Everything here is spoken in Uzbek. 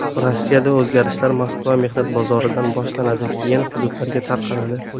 Rossiyada o‘zgarishlar Moskva mehnat bozoridan boshlanadi, keyin hududlarga tarqaladi.